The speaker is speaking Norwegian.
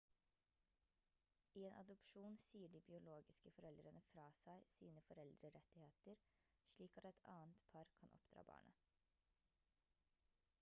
i en adopsjon sier de biologiske foreldrene fra seg sine foreldrerettigheter slik at et annet par kan oppdra barnet